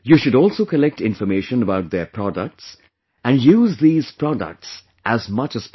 You should also collect information about their products and use these products as much as possible